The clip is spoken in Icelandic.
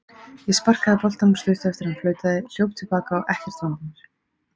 Ég sparkaði boltanum stuttu eftir að hann flautaði, hljóp til baka og ekkert vandamál.